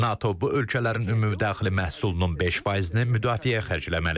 NATO bu ölkələrin ümumdaxili məhsulunun 5%-ni müdafiəyə xərcləməlidir.